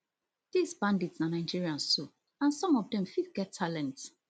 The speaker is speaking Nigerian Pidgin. dis bandits na nigerians too and some of dem fit get talent